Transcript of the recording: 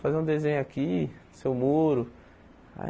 Fazer um desenho aqui, seu muro. Aí